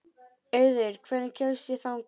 Auður, hvernig kemst ég þangað?